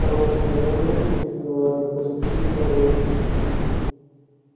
рон с гермионой увидев неладное поспешили на выручку